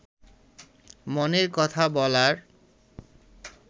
মনের কথা বলার